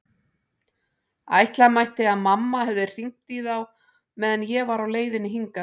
Ætla mætti að mamma hefði hringt í þá meðan ég var á leiðinni hingað.